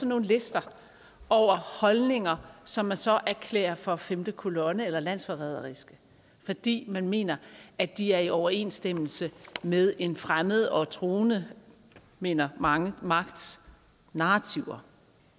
nogle lister over holdninger som man så erklærer for femte kolonne eller landsforræderiske fordi man mener at de er i overensstemmelse med en fremmed og truende mener mange magts narrativer